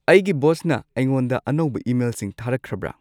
ꯑꯩꯒꯤ ꯕꯣꯁꯅ ꯑꯩꯉꯣꯟꯗ ꯑꯅꯧꯕ ꯏꯃꯦꯜꯁꯤꯡ ꯊꯥꯔꯛꯈ꯭ꯔꯕ꯭ꯔ